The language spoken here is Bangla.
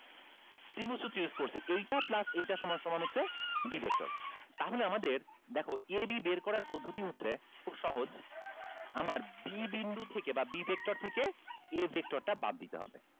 ত্রিভুজ করছে এইটা plus এইটা সমান সমান হচ্ছে b vector তাহলে আমাদের দেখো a b বের করার পদ্ধতি হচ্ছে খুব সহজ আমার b বিন্দু থেকে বা b vector থেকে a vector টা বাদ দিতে হবে